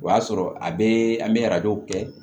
O y'a sɔrɔ a bɛ an bɛ arajow kɛ